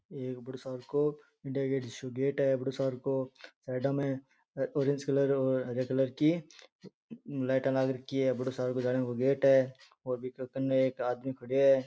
एक बड़ो सार को इंडिया गेट जिसो गेट है बड़ो सार को साइडाँ में ऑरेंज कलर और हरे कलर की लाइटाँ लाग रखी है एक आदमी खड्यो है।